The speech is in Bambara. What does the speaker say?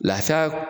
Lafiya